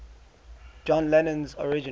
john lennon's original